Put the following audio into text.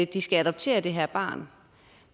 de skal adoptere det her barn